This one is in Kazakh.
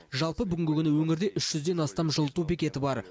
жалпы бүгінгі күні өңірде үш жүзден астам жылыту бекеті бар